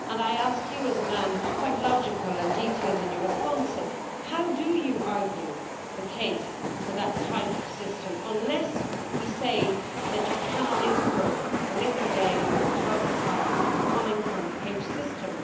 I ask you, as a man who is quite logical and detailed in your responses, how do you argue the case for that type of system unless we say that you cannot import the liquid egg or the powdered product coming from a caged system?